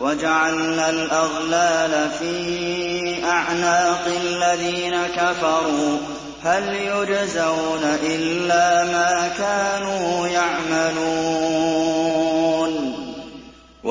وَجَعَلْنَا الْأَغْلَالَ فِي أَعْنَاقِ الَّذِينَ كَفَرُوا ۚ هَلْ يُجْزَوْنَ إِلَّا مَا كَانُوا يَعْمَلُونَ